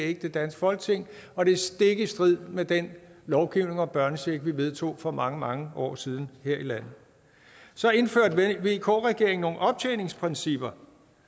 ikke det danske folketing og det er stik i strid med den lovgivning om børnechecken vi vedtog for mange mange år siden her i landet så indførte vk regeringen nogle optjeningsprincipper